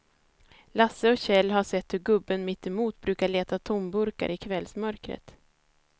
Lasse och Kjell har sett hur gubben mittemot brukar leta tomburkar i kvällsmörkret.